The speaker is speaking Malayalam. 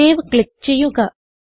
സേവ് ക്ലിക്ക് ചെയ്യുക